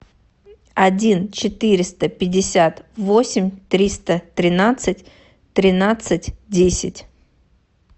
один четыреста пятьдесят восемь триста тринадцать тринадцать десять